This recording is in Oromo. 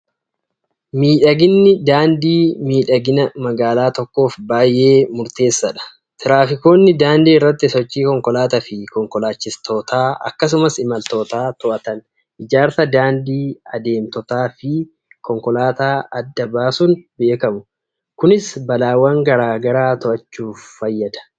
Miidhaginni daandii miidhagina magaalaa tokkoof baay'ee murteessaadha! Tiraafikoonni daandii irratti sochii konkolaataa fi konkolaachistootaa akkasumas imaltootaa to'atan, ijaarsa daandii adeemtotaa fi konkolaataa adda baasuun beekamu. Kunis balaawwan gara garaa to'achuuf fayyada.